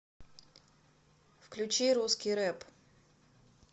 включи русский рэп